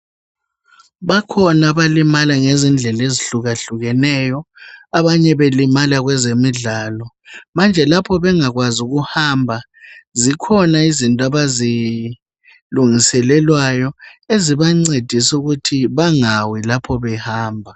Bakhona abalima ngendlela ezitshiya tshiyeneyo abanye belimala ngezemidlalo manje lapho bengakwanisi ukuhamba zikhona izinto abazilungiselelwayo ezibangcedisa ukuthi bengawi lapho behamba